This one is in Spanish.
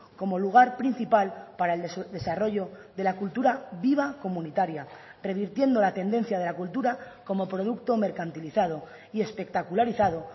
como lugar principal para el desarrollo de la cultura viva comunitaria revirtiendo la tendencia de la cultura como producto mercantilizado y espectacularizado